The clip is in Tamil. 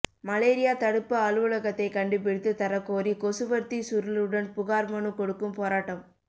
மலேரியா தடுப்பு அலுவலகத்தை கண்டுபிடித்து தரக்கோரி கொசுவர்த்தி சுருளுடன் புகார் மனு கொடுக்கும் போராட்டம்